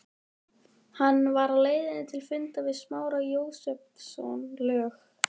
Hann var á leið til fundar við Smára Jósepsson, lög